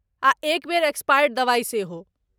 आ एक बेर एक्सपायर्ड दवाइ सेहो।